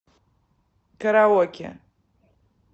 караоке